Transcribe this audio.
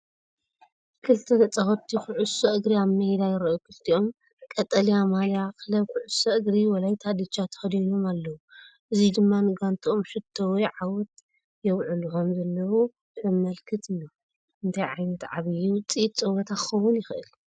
ክልተ ተጻወትቲ ኩዕሶ እግሪ ኣብ ሜዳ ይረኣዩ። ክልቲኦም ቀጠልያ ማልያ ክለብ ኩዕሶ እግሪ ወላይታ ዲቻ ተኸዲኖም ኣለዉ። እዚ ድማ ንጋንትኦም ሸቶ ወይ ዓወት የብዕሉ ከምዘለዉ ዘመልክት እዩ። እንታይ ዓይነት ዓቢይ ውጽኢት ጸወታ ክኸውን ይኽእል?